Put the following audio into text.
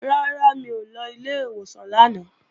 Rárá, mi ò lọ ilé ìwòsàn lánàá